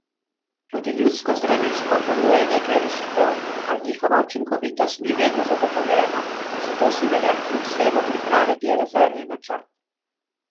Tudi ljudsko zdravilstvo ponuja nekaj rešitev, a njihova učinkovitost ni vedno zagotovljena, zato si velja kljub vsemu pripraviti rezervni načrt.